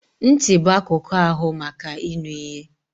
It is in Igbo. Ntị bụ akụkụ ahụ maka ịnụ ihe.